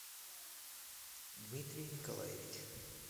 дмитрий николаевич